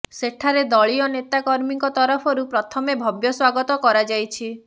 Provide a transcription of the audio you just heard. ସେଠାରେ ଦଳୀୟ ନେତା କର୍ମୀଙ୍କ ତରଫରୁ ପ୍ରଥମେ ଭବ୍ୟ ସ୍ବାଗତ କରାଯାଇଛି